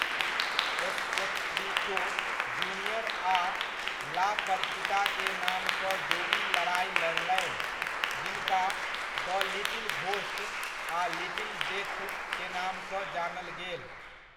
एस्पेक्ट्रिटो junior आ La Parkita के नामसँ जोड़ी लड़ाइ लड़लनि, जिनका 'द लिटिल घोस्ट' आ 'लिटिल डेथ' के नामसँ जानल गेल।